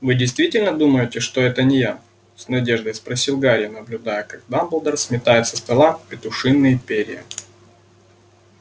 вы действительно думаете что это не я с надеждой спросил гарри наблюдая как дамблдор сметает со стола петушиные перья